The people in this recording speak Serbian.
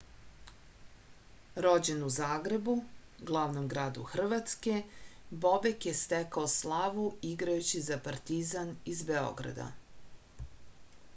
rođen u zagrebu glavnom gradu hrvatske bobek je stekao slavu igrajući za partizan iz beograda